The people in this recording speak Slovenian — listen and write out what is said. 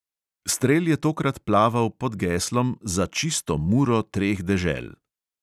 Strel je tokrat plaval pod geslom za čisto muro treh dežel.